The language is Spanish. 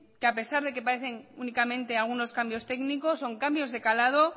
que a pesar de que parecen únicamente algunos cambios técnicos son cambios de calado